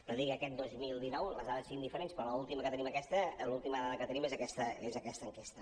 no dic que aquest dos mil dinou les dades siguin diferents però l’última que tenim aquesta l’última dada que tenim és aquesta enquesta